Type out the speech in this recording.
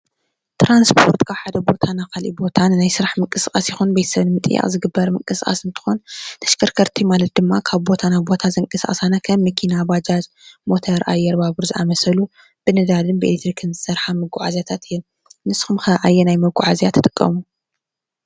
ትራንስፖርት ካብ ሓደ ቦታ ናብ ካሊእ ቦታ ናይ ስራሕ ምንቅስቃስ ይኹን ቤተሰብ ንምጥያቅ ዝግበር ምንቅስቃስ እንትኾን ተሽከርከርቲ ማለት ድማ ካብ ቦታ ናብ ቦታ ከም መኪና፣ ባጃጅ፣ ሞተር ፣ኣየር፣ ባቡር ዝኣመሰሉ ብነዳድን ብኤሌትሪክን ዝሰርሓ መጓዓዝያታት እየን። ንስኹም ኸ ኣየናይ መጓዓዝያ ትጥቀሙ?